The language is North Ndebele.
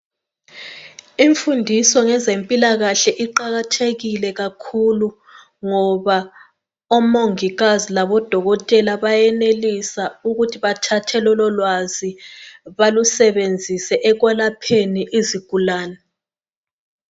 Imfundiso ngezempilakahle iqakathekile kakhulu ngoba omongikazi labodokotela bayenelisa ukuthi bathathe lololwazi balusebenzise ekwelapheni izigulane.